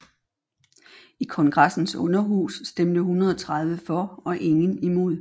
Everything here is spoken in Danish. I kongressens underhus stemte 130 for og ingen imod